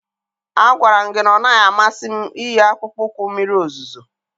Agwara m gị na ọ naghị amasị m iyi akpụkpọ ụkwụ mmiri ozuzo.